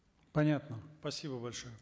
понятно спасибо большое